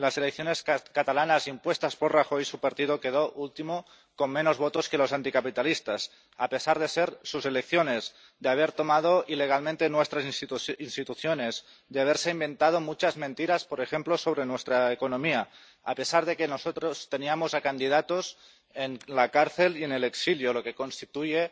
En las elecciones catalanas, impuestas por Rajoy, su partido quedó último, con menos votos que los anticapitalistas, a pesar de ser sus elecciones, de haber tomado ilegalmente nuestras instituciones, de haberse inventado muchas mentiras, por ejemplo, sobre nuestra economía, y a pesar de que nosotros teníamos a candidatos en la cárcel y en el exilio, lo que constituye